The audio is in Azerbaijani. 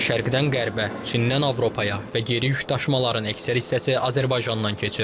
Şərqdən qərbə, Çindən Avropaya və geri yük daşımaların əksər hissəsi Azərbaycandan keçir.